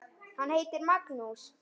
Hann heitir Magnús.